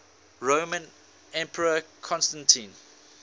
roman emperor constantine